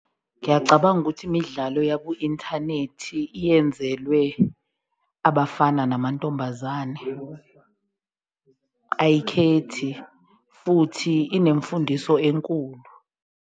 Ngiyacabanga ukuthi imidlalo yaku-inthanethi yenzelwe abafana namantombazane ayikhethi futhi inemfundiso enkulu.